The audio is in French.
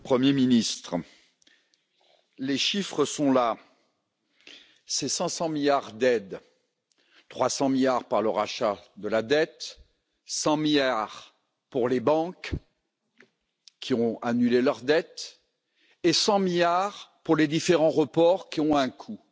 Monsieur le Président, Monsieur le Premier ministre, les chiffres sont là, c'est 500 milliards d'aides 300 milliards par le rachat de la dette, 100 milliards pour les banques qui ont annulé leurs dettes et 100 milliards pour les différents reports, qui ont un coût.